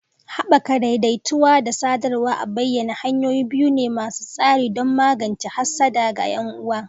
Haɓaka daidaituwa da sadarwa a bayyane hanyoyi biyu ne masu tasiri don magance hassada ga 'yan'uwa.